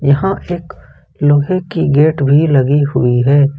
यहां पे एक लोहे की गेट भी लगी हुई है।